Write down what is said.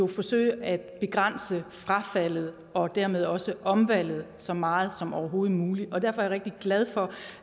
forsøge at begrænse frafaldet og dermed også omvalget så meget som overhovedet muligt derfor er jeg rigtig glad for